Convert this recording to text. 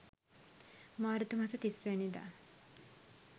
මාර්තු මස 30 වැනි දා